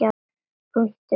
Punktur getur átt við